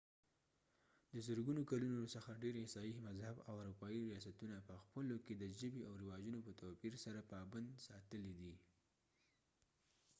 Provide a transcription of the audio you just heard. د زرګونو کلونو څخه ډير عیسايي مذهب اروپایي ریاستونه پخپلو کې د ژبې او رواجونو په توپیر سره پابند ساتلي دي